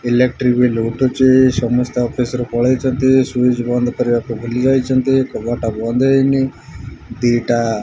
electric ବି ଲୁଟୁଚି ସମସ୍ତେ ଅଫିସ୍ ରୁ ପଳେଇଚନ୍ତି ଶ୍ୱିଇଜ୍ ବନ୍ଦ କରିବାକୁ ଭୁଲି ଯାଇଚନ୍ତି କବାଟ ବନ୍ଦ ହେଇନି ଦି ଟା --